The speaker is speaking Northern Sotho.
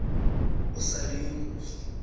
o sa le yo mofsa